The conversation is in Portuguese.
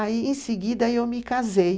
Aí, em seguida, eu me casei.